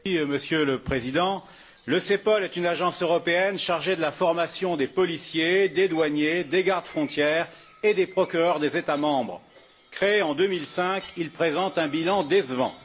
Monsieur le Président, le CEPOL est une agence européenne chargée de la formation des policiers, des douaniers, des gardes frontières et des procureurs des États membres. Créé en 2005, il présente un bilan décevant.